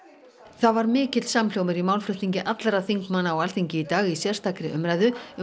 það var mikill samhljómur í málflutningi allra þingmanna á Alþingi í dag í sérstakri umræðu um